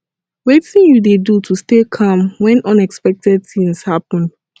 wetin you dey do to stay calm when unexpected things happen